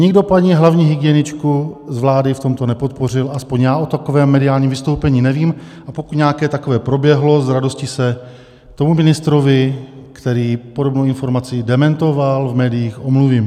Nikdo paní hlavní hygieničku z vlády v tomto nepodpořil, aspoň já o takovém mediálním vystoupení nevím, a pokud nějaké takové proběhlo, s radostí se tomu ministrovi, který podobnou informaci dementoval v médiích, omluvím.